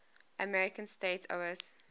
american states oas